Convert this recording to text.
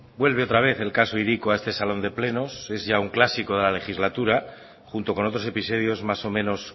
vuelve otra vez el caso hiriko a este salón de plenos es ya un clásico de la legislatura junto con otros episodios más o menos